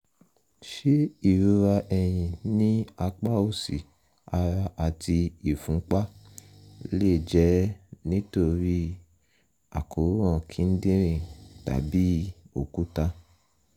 ṣé ìrora ẹ̀yìn ní apá òsì ara àti ìfúnpá lè jẹ́ nítorí àkóràn kíndìnrín tàbí òkúta?